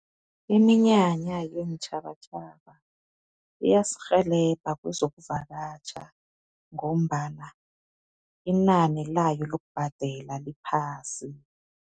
Iminyanya yeentjhabatjhaba iyasirhelebha kwezokuvakatjha ngombana inani layo lokubhadela liphasi.